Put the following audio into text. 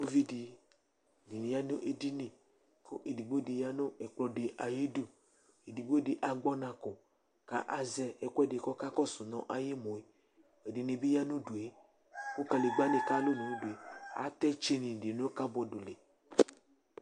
Uvi dɩ dɩnɩ ya nʋ edini kʋ edigbo dɩ ya nʋ ɛkplɔ dɩ ayidu Edigbo dɩ agbɔ ɔna kɔ kʋ azɛ ɛkʋɛdɩ kʋ ɔkakɔsʋ nʋ ayʋ emu yɛ Ɛdɩnɩ ya nʋ udu yɛ kʋ kadegbǝnɩ kalʋ nʋ udu yɛ Atɛ tsɩnɩ dɩ nʋ kabɔd li